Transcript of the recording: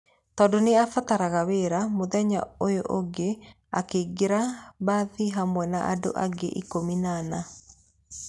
Tondũ nĩ aabataraga wĩra, mũthenya ũyũ ũngĩ akĩingĩra mbathi hamwe na andũ angĩ 14.